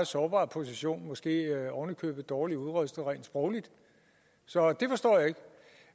sårbar position måske oven i købet dårligt udrustet rent sprogligt så det forstår jeg ikke